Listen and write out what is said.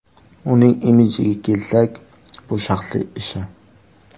Uning imijiga kelsak, bu shaxsiy ishi.